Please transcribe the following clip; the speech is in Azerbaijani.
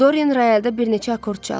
Doren royalda bir neçə akord çaldı.